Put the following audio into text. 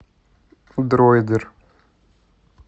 дроидер